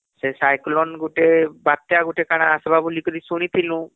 ସେcyclone ଗୁଟେ ବାତ୍ୟା ଗୁଟେ କାଣା ଆସିବ ବୋଲି କରି ଶୁଣିଥିଲୁ